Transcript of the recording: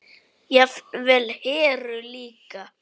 Jafnvel Heru líka.